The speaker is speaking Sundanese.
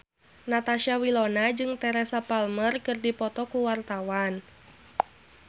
Natasha Wilona jeung Teresa Palmer keur dipoto ku wartawan